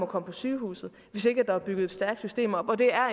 komme på sygehuset hvis ikke der er bygget et stærkt system op og det er